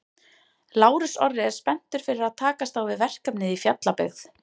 Lárus Orri er spenntur fyrir að takast á við verkefnið í Fjallabyggð.